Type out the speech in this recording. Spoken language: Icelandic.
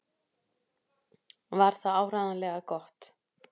Var það áreiðanlega gott?